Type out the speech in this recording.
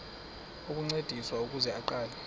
ukuncediswa ukuze aqale